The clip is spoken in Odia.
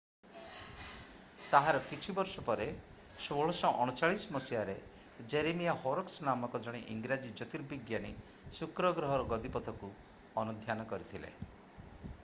ତାହାର କିଛି ବର୍ଷ ପରେ 1639 ମସିହାରେ ଜେରେମିଆ ହୋରକ୍ସ ନାମକ ଜଣେ ଇଂରାଜୀ ଜ୍ୟୋତିର୍ବିଜ୍ଞାନୀ ଶୁକ୍ର ଗ୍ରହର ଗତିପଥକୁ ଅନୁଧ୍ୟାନ କରିଥିଲେ